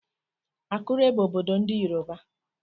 Akure bụ obodo ndị Yoruba.